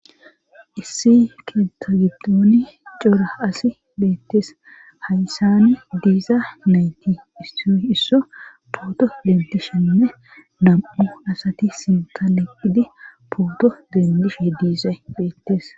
issi keetha giddooni cora asi beettees haysani diiza nayti isso isso poodo ledeshenne nam7u asati sinka leqqidi pooddo dendishe diise beettes